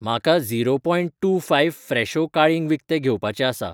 म्हाका zero point two five फ्रेशो काळिंग विकतें घेवपाचें आसा